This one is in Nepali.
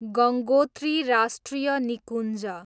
गङ्गोत्री राष्ट्रिय निकुञ्ज